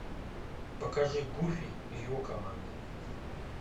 покажи гуфи и его команда